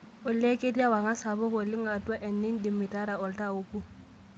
olly ketii ewang'an sapuk ooleng atua ene indim atara oltaa obo